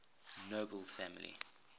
nobel family